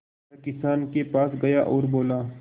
वह किसान के पास गया और बोला